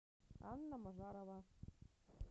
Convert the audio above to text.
анна назарова